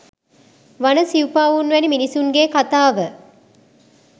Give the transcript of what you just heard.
වන සිවුපාවුන් වැනි මිනිසුන්ගේ කතාව